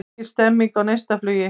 Mikil stemming á Neistaflugi